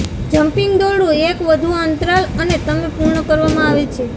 jumping દોરડું એક વધુ અંતરાલ અને તમે પૂર્ણ કરવામાં આવે છે